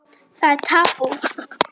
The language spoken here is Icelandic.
Það er tabú.